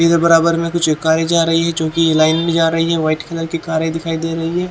ये जो बराबर में कुछ कारें जा रही है क्योंकि ये लाइन में जा रही है व्हाइट कलर की कारें दिखाई दे रही है।